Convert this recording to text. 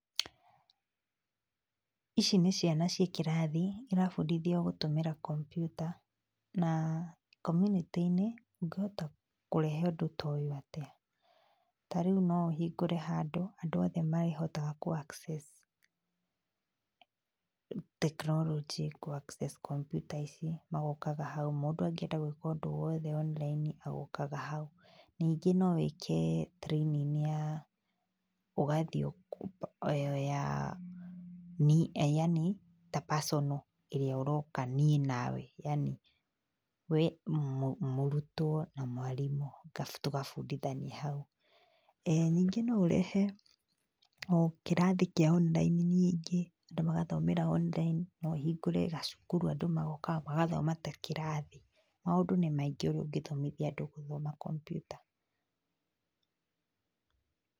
Ici nĩ ciana cĩĩ kĩrathi, na irabundithio gũtũmĩra kompiuta, na community -inĩ ũngĩhota kũrehe ũndũ ta ũyũ atia? Tarĩu no ũhingũre handũ, andũ othe mehotaga kũ access tekinoronjĩ, kũ access kompiuta ici, magokaga hau mũndũ angĩenda gwĩka ũndũ owothe online agokaga hau. Ningĩ no wĩke training ya, ũgathiĩ yani ta personnal, ĩrĩa ũroka niĩ na we yani, we mũrutwo na mwarimũ mũgoka tũgabundithania. Eeh Ningĩ no ũrehe o kĩrathi kĩa online ningĩ, andũ magathomera online, no ũhingũre gacukuru andũ magokaga magathoma ta kĩrathi, maũndũ nĩ maingĩ ũrĩa ũngĩthomithia andũ gũthoma kompiuta.